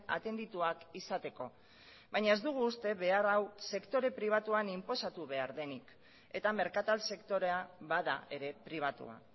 atendituak izateko baina ez dugu uste behar hau sektore pribatuan inposatu behar denik eta merkatal sektorea bada ere pribatua